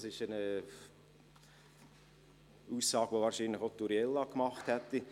Das ist eine Aussage, die wahrscheinlich auch Uriella gemacht hätte.